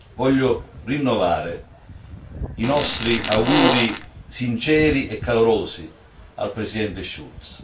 Voglio rinnovare i nostri auguri sinceri e calorosi al Presidente Schulz.